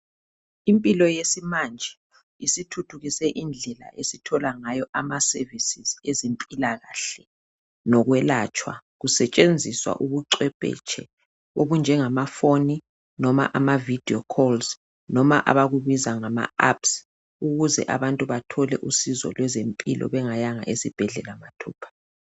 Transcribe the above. Impilo yesimanje isithuthukise indlela esithola ngayo amaservices ezimpilakahle lokwelatshwa kusetshenziswa ubucwephetshe okunjengabomakhalekhukhwini loba amavideo calls loba abakubiza ngama apps ukuze abantu bathole usizo lwezempilo bengayanga esibhedlela mathupha.